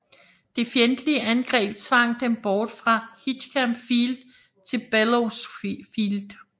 Det fjendtlige angreb tvang dem bort fra Hickam Field til Bellows Field